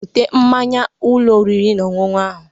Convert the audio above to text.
Bute mmaṅya n'Ụlọ oriri na ọṅụṅụ ahụ.?